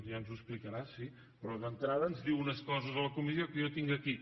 ja ens ho explicarà sí però d’entrada ens diu unes coses a la comissió que jo tinc aquí